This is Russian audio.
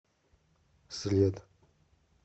след